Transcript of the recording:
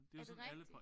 Er det rigtigt?